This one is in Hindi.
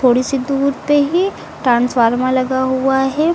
थोड़ी सी दूर पे ही ट्रांसफार्मर लगा हुआ है।